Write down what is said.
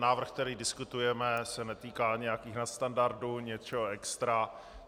Návrh, který diskutujeme, se netýká nějakých nadstandardů, něčeho extra.